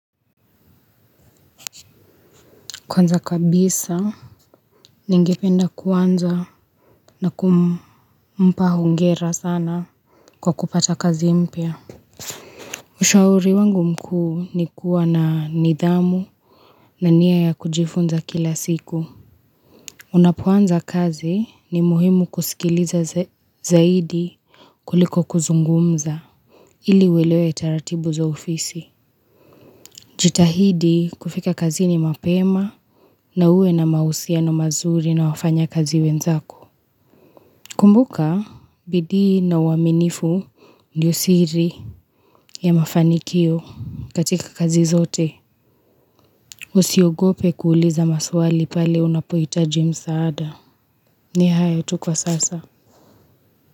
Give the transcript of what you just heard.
Kwanza kabisa, ningependa kuanza na kumpa hongera sana kwa kupata kazi mpya. Ushauri wangu mkuu ni kuwa na nidhamu na nia ya kujifunza kila siku. Unapoanza kazi ni muhimu kusikiliza zaidi kuliko kuzungumza. Ili uelewe taratibu za ofisi. Jitahidi kufika kazini mapema na uwe na mahusiano mazuri na wafanyakazi wenzako. Kumbuka bidii na uaminifu ndio siri ya mafanikio katika kazi zote. Usiogope kuuliza maswali pale unapohitaji msaada. Ni hayo tu kwa sasa.